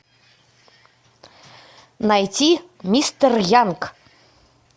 найти мистер янг